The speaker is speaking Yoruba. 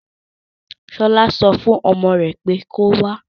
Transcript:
Ṣọlá so fún ọmọ rè pé kí o wá.